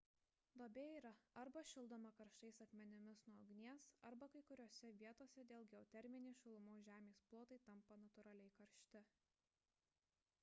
duobė yra arba šildoma karštais akmenimis nuo ugnies arba kai kuriose vietose dėl geoterminės šilumos žemės plotai tampa natūraliai karšti